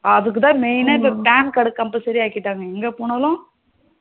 அதுக்குத்தான் இப்போ Main னா PAN cardCompulsory ஆக்கிட்டாங்க இப்ப எங்க போனாலும்